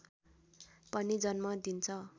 पनि जन्म दिन्छ